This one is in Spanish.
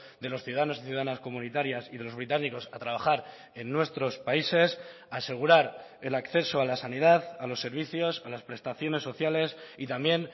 de los ciudadanos y ciudadanas comunitarias y de los británicos a trabajar en nuestros países asegurar el acceso a la sanidad a los servicios a las prestaciones sociales y también